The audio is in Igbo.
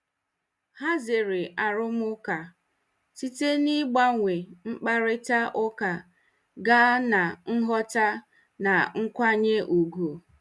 Ha zere arụmụka site n'ịgbanwe mkparịta ụka gaa na nghọta na nkwanye ùgwù.